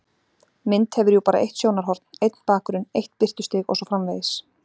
Mynd hefur jú bara eitt sjónarhorn, einn bakgrunn, eitt birtustig og svo framvegis.